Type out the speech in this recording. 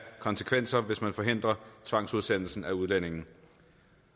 konsekvenser hvis man forhindrer tvangsudsendelse af udlændinge